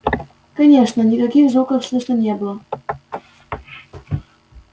конечно никаких звуков слышно не было